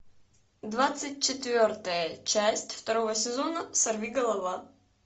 двадцать четвертая часть второго сезона сорвиголова